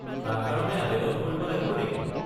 তাৰ কাৰণে আৱেদন কৰিব লাগিব নেকি?